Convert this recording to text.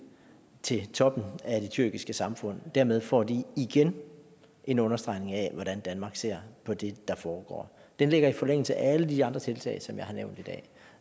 til toppen af det tyrkiske samfund og dermed får de igen en understregning af hvordan danmark ser på det der foregår den ligger i forlængelse af alle de andre tiltag som jeg har nævnt i dag